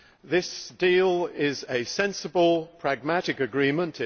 This deal is a sensible pragmatic agreement.